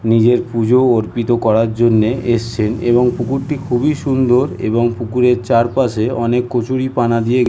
নিজের পুজো অর্পিত করার জন্য এবং পুকুরটি খুবই সুন্দর। এবং পুকুরের চারপাশে অনেক কচুরিপানা দিয়ে ঘে--